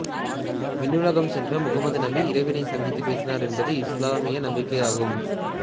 விண்ணுலகம் சென்ற முகம்மது நபி இறைவனைச் சந்தித்துப் பேசினார் என்பது இசுலாமிய நம்பிக்கை ஆகும்